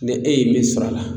N'e e ye min sɔrɔ a la